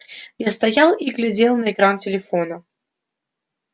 я стоял и глядел на экран телефона